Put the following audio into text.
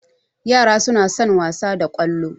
Ƴara suna son wasa da Kwalo